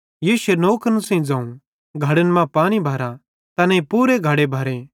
यीशुए नौकरन सेइं ज़ोवं घड़न मां पानी भरा तैनेईं पूरे घड़े भरे